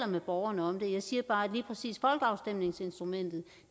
med borgerne om det jeg siger bare at lige præcis folkeafstemningsinstrumentet